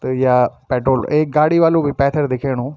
त या पेट्रोल एक गाडी वालू भी पैथर दिखेणु।